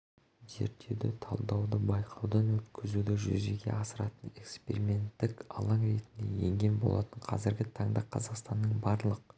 зерттеуді талдауды байқаудан өткізуді жүзеге асыратын эксперименттік алаң ретінде енген болатын қазіргі таңда қазақстанның барлық